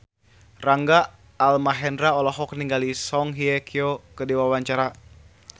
Rangga Almahendra olohok ningali Song Hye Kyo keur diwawancara